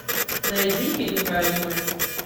найди фильм про аниме